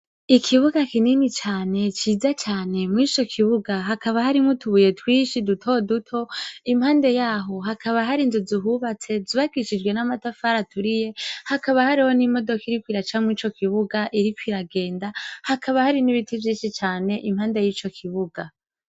Ikibuga kinini cane ciza cane mwico kibuga hakaba harimwo utubuye twishi duto duto impande yaho hakaba hari inzu zihubatse zubakishijwe n'amatafari aturiye hakaba hari n'imodoka iriko iraca murico kibuga iriko iragenda hakaba hari n'ibiti vyishi cane impande yico kibuga.